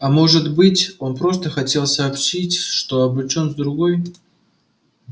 а может быть он просто хотел сообщить что обручён с другой